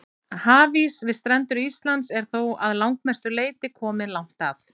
Hafís við strendur Íslands er þó að langmestu leyti kominn langt að.